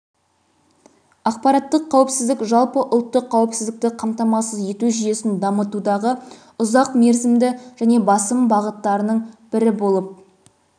ақпараттық қауіпсіздік жалпы ұлттық қауіпсіздікті қамтамасыз ету жүйесін дамытудағы ұзақ мерзімді және басым бағыттарының бірі болып